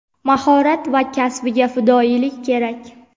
mahorat va kasbiga fidoyilik kerak.